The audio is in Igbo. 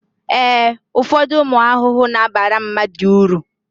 ee, ụfọdụ ụmụ ahụhụ na-abara mmadụ uru